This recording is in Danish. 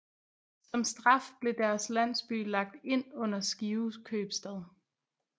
Som straf blev deres landsby lagt ind under Skive købstad